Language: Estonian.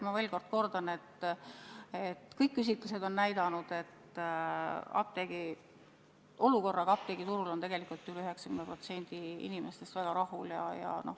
Ma veel kord kordan: kõik küsitlused on näidanud, et olukorraga apteegiturul on tegelikult üle 90% inimestest väga rahul.